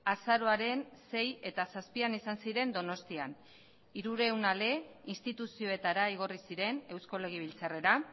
azaroaren sei eta zazpian izan ziren donostian hirurehun ale instituzioetara igorri ziren eusko legebiltzarrera